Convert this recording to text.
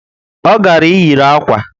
O gara iyiri akwa